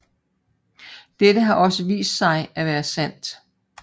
Dette har også vist sig at være sandt